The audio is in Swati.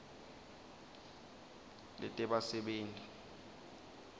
letebasebenti